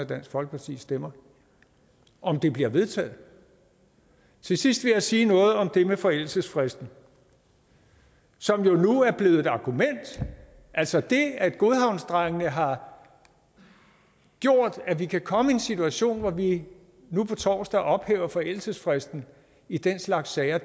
dansk folkepartis stemmer om det bliver vedtaget til sidst vil jeg sige noget om det med forældelsesfristen som jo nu er blevet et argument altså det at godhavnsdrengene har gjort at vi kan komme i en situation hvor vi nu på torsdag ophæver forældelsesfristen i den slags sager